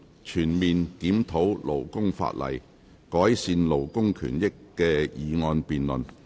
全面檢討勞工法例，改善勞工權益的議案辯論。